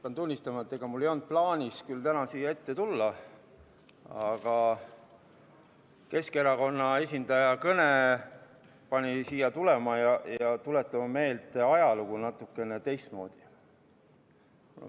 Pean tunnistama, et mul ei olnud küll plaanis täna siia ette tulla, aga Keskerakonna esindaja kõne pani mind siia tulema ja tuletama meelde ajalugu natukene teistmoodi.